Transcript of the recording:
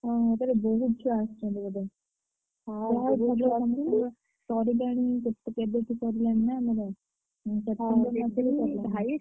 ଓହୋ! ତାହେଲେ ବହୁତ୍ ଛୁଆ ଆସିଛନ୍ତି ବୋଧେ। ପରିବାଣି କେବେଠୁ ପଡିଲାଣି ନା ଆମର ହୁଁ ।